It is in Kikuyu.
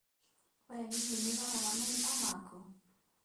We hihi nĩũroraga maitho maku?